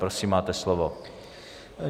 Prosím, máte slovo.